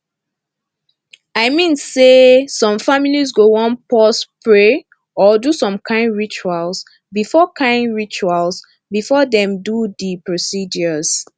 i mean say some families go wan pause pray or do some kain rituals before kain rituals before dem do the procedures